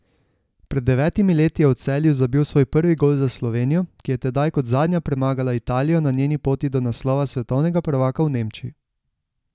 Pred devetimi leti je v Celju zabil svoj prvi gol za Slovenijo, ki je tedaj kot zadnja premagala Italijo na njeni poti do naslova svetovnega prvaka v Nemčiji.